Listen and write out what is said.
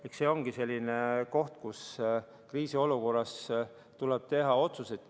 Eks see olegi selline koht, kus kriisiolukorras tuleb teha otsuseid.